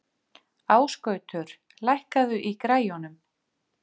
Ásgautur, lækkaðu í græjunum.